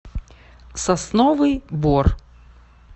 сосновый бор